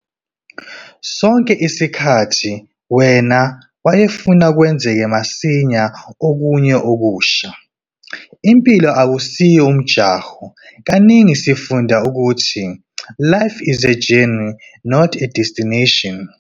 Sonke isikhathi wena wayefuna kwenzeke masinya okunye okusha. Impilo akusiwo umjaho - kaningi sifunda ukuthi "life is a journey and not a destination".